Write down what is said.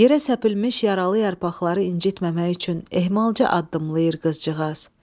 Yerə səpilmiş yaralı yarpaqları incitməmək üçün ehmalca addımlayır qızcığaz.